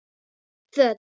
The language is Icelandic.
Föt